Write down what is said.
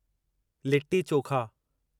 litti chokha